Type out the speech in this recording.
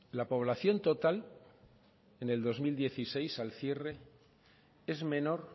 la población total en el dos mil dieciséis al cierre es menor